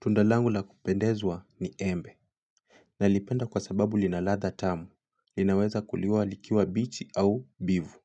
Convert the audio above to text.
Tundalangu la kupendezwa ni embe na lipenda kwa sababu linaladha tamu, linaweza kuliwa likiwa bichi au mbivu